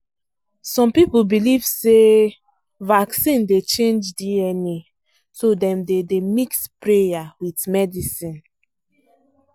some people believe say um vaccine dey change dna so dem dem dey mix prayer with medicine